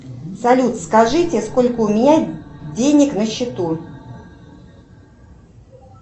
салют скажите сколько у меня денег на счету